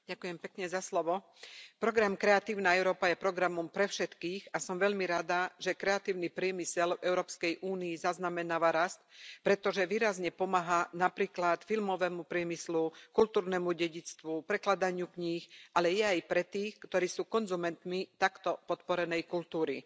Vážená pani predsedajúca. Program Kreatívna Európa je programom pre všetkých a som veľmi rada, že kreatívny priemysel v Európskej únii zaznamenáva rast, pretože výrazne pomáha napríklad filmovému priemyslu, kultúrnemu dedičstvu, prekladaniu kníh, ale je aj pre tých, ktorí sú konzumentmi takto podporenej kultúry.